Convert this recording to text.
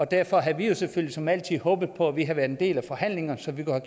derfor havde vi jo selvfølgelig som altid håbet på at vi havde været en del af forhandlingerne så vi kunne